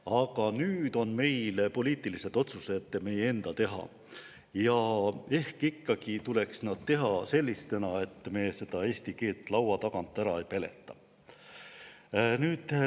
Aga nüüd on poliitilised otsused meie enda teha ja ehk ikkagi tuleks need teha selliselt, et me eesti keelt laua tagant ära ei peleta.